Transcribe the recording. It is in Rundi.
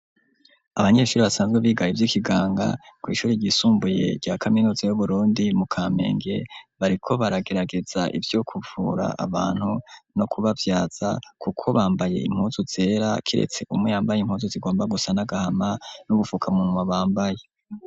Abanyeshuri basanzwe bigaye ivy'ikiganga ku ishuri ryisumbuye rya kaminutsa yu Burundi mu Kamenge bariko baragerageza ivyo kuvura abantu no kubavyaza kuko bambaye impunzu zera kiretse umu yambaye impunsu zigomba gusa nagahama n'ugufukamunwa bambaye.